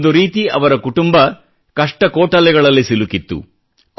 ಒಂದು ರೀತಿ ಅವರ ಕುಟುಂಬ ಕಷ್ಟಕೋಟಲೆಗಳಲ್ಲಿ ಸಿಲುಕಿತ್ತು